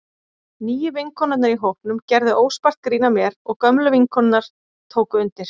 Nýju vinkonurnar í hópnum gerðu óspart grín að mér og gömlu vinkonur mínar tóku undir.